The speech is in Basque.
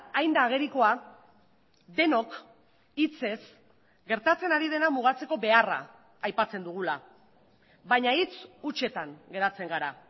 hain da agerikoa denok hitzez gertatzen ari dena mugatzeko beharra aipatzen dugula baina hitz hutsetan geratzen gara